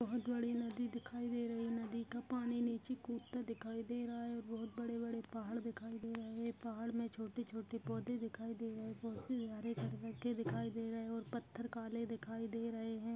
बहुत बड़ी नदी दिखाई दे रही नदी का पानी नीचे कूदता हुआ दिखा रहा है और बहुत बड़े बड़े पहाड़ दिख रहे है पहाड मे छोटे छोटे पौधे दिखाई दे रहे है पौधे हरे रंग के दिखाई दे रहे है और पत्थर काले दिखाई दे रहे है।